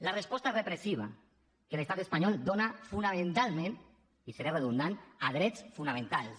la resposta repressiva que l’estat espanyol dona fonamentalment i seré redundant a drets fonamentals